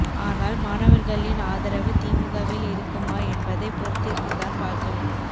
ஆனால் மாணவர்களின் ஆதரவு திமுகவில் இருக்குமா என்பதை பொறுத்திருந்துதான் பார்க்க வேண்டும்